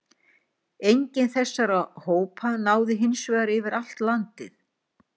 enginn þessara hópa náði hins vegar yfir allt landið